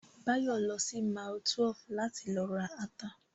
Báyọ̀ lọ sí mile 12 láti lọ ra ata